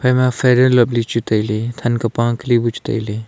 ama fair and lovely chu tailey than ka pa ka li chu tailey.